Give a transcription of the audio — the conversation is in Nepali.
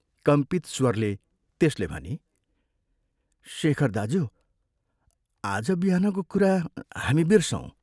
कम्पित स्वरले त्यसले भनी, "शेखर दाज्यू, आज बिहानको कुरा हामी बिर्सौँ।